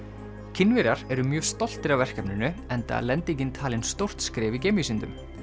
Kínverjar eru mjög stoltir af verkefninu enda er lendingin talin stórt skref í geimvísindum